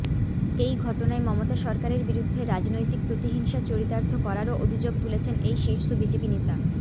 এই ঘটনায় মমতা সরকারের বিরুদ্ধে রাজনৈতিক প্রতিহিংসা চরিতার্থ করারও অভিযোগও তুলেছেন এই শীর্ষ বিজেপি নেতা